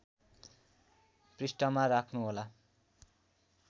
पृष्ठमा राख्नुहोला